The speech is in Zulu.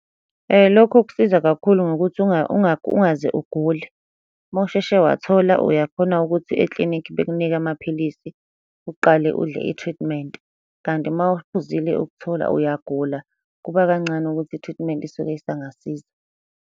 Lokho kusiza kakhulu ngokuthi ungaze ugule. Uma usheshe wathola uyakhona ukuthi eklinikhi bekunike amaphilisi, uqale udle i-treatment, kanti uma uphuzile ukuthola, uyagula, kuba kancane ukuthi i-treatment isuke isangasiza.